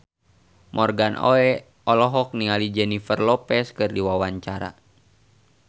Morgan Oey olohok ningali Jennifer Lopez keur diwawancara